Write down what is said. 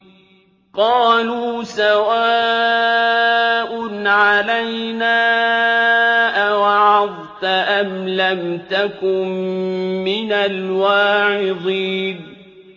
قَالُوا سَوَاءٌ عَلَيْنَا أَوَعَظْتَ أَمْ لَمْ تَكُن مِّنَ الْوَاعِظِينَ